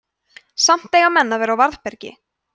samt eiga menn að vera á varðbergi